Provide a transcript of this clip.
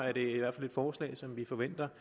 er det i hvert fald et forslag som vi forventer